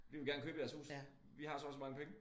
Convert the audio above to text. Vi vil gerne købe jeres hus vi har så og så mange penge